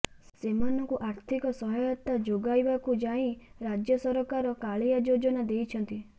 ସେମାନଙ୍କୁ ଆର୍ଥିକ ସହାୟତା ଯୋଗାଇବାକୁ ଯାଇ ରାଜ୍ୟ ସରକାର କାଳିଆ ଯୋଜନା ଦେଇଛନ୍ତି